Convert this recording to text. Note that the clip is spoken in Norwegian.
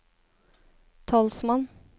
talsmann